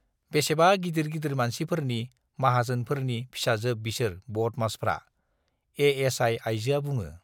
बेसेबा गिदिर गिदिर मानसिफोरनि, माहाजोनफोरनि फिसाजोब बिसोर बदमासफ्रा - एएसआइ आइजोआ बुङो।